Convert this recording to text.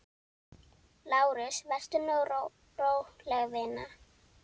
LÁRUS: Vertu nú róleg, vina.